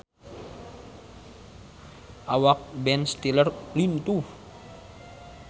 Awak Ben Stiller lintuh